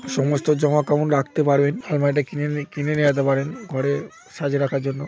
সমস্ত জামা কাপড় রাখতে পারবেন। আলমারিটা কিনে কিনে নিয়ে যেতে পারেন ঘরে সাজিয়ে রাখার জন্য।